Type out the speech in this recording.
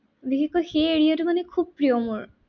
বিশেষকৈ সেই area তো মানে খুব প্ৰিয় মোৰ।